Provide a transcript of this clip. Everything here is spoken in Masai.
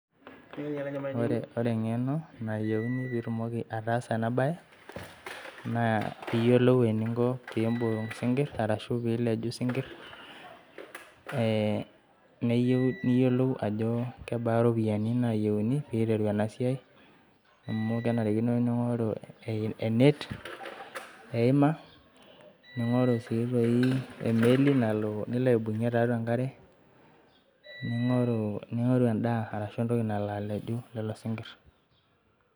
Ore enkeno nayieuni peetumoki ataasa ena bae naa pee iyiolou eninko pee iibunk isinkirr arashu pee ileju isinkir, niyieu niyiolou ajo kebaa iropiyiani naayiouni peeiteru ena siai amu kenarikino pee inkoru enet, eima ninkoru sii toi emeli nalo nilo aibunkie tiatua enkare ,ninkoru endaa arashu entoki nalo aleju lelo sinkir.